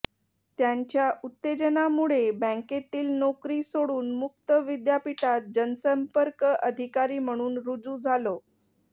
त्यांच्या उत्तेजनामुळे बँकेतील नोकरी सोडून मुक्त विद्यापीठात जनसंपर्क अधिकारी म्हणून रुजू झालो